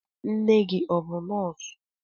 Nne gị ọ bụ nọọsụ?